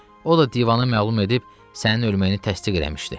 O da divana məlum edib sənin ölməyini təsdiq eləmişdi.